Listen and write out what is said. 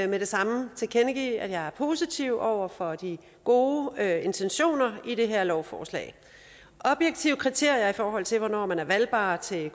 det samme tilkendegive at jeg er positiv over for de gode intentioner i det her lovforslag objektive kriterier i forhold til hvornår man er valgbar til